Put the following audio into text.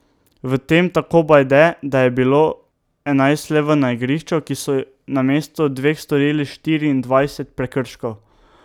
V tem, tako Bajde, da je bilo enajst levov na igrišču, ki so namesto dveh storili štiriindvajset prekrškov.